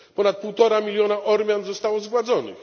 Ponad półtora miliona Ormian zostało zgładzonych.